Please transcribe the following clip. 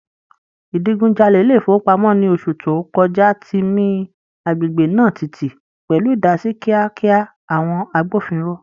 Ìdigunjalè ilé ìfowópamọ́ ní oṣù tó kọjá ti mi agbègbè náà tìtì, pẹ̀lú ìdásí kíákíá àwọn agbófinró.